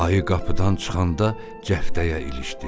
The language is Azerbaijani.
Ayı qapıdan çıxanda cəftəyə ilişdi.